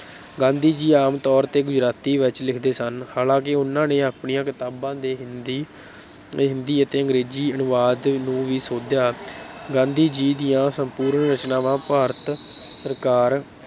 ਗਾਂਧੀ ਜੀ ਆਮ ਤੌਰ ਤੇ ਗੁਜਰਾਤੀ ਵਿਚ ਲਿਖਦੇ ਸਨ, ਹਾਲਾਂਕਿ ਉਨ੍ਹਾਂ ਨੇ ਆਪਣੀਆਂ ਕਿਤਾਬਾਂ ਦੇ ਹਿੰਦੀ, ਹਿੰਦੀ ਅਤੇ ਅੰਗਰੇਜ਼ੀ ਅਨੁਵਾਦ ਨੂੰ ਵੀ ਸੋਧਿਆ ਗਾਂਧੀ ਜੀ ਦੀਆਂ ਸੰਪੂਰਨ ਰਚਨਾਵਾਂ ਭਾਰਤ ਸਰਕਾਰ